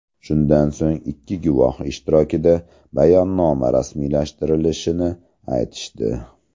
Shundan so‘ng ikki guvoh ishtirokida bayonnoma rasmiylashtirilishini aytishdi.